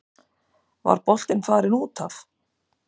Var boltinn farinn út af?